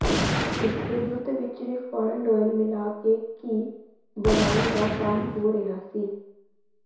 ਇੱਥੇ ਦੁੱਧ ਵਿਚ ਰਿਫਾਇੰਡ ਆਇਲ ਮਿਲਾ ਕੇ ਘੀ ਬਣਾਉਣ ਦਾ ਕੰਮ ਹੋ ਰਿਹਾ ਸੀ